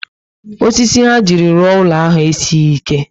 Osisi ha jiri rụọ úlọ ahụ esighi ike